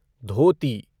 धोती